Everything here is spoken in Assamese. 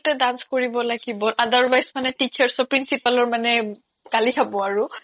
dance কৰিব লাগিব otherwise মানে teachers' ৰ principals ৰ মানে গালি খাব আৰু